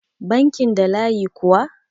bankin da layi kuwa?